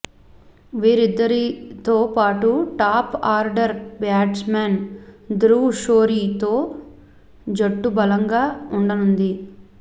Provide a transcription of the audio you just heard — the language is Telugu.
వీరిద్దరితో పాటు టాప్ ఆర్డర్ బ్యాట్స్మన్ ధ్రువ్ షోరీతో జట్టు బలంగా ఉండనుంది